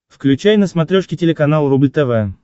включай на смотрешке телеканал рубль тв